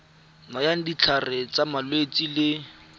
nayang ditlhare tsa malwetse le